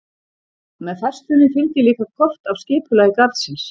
Með færslunni fylgir líka kort af skipulagi garðsins.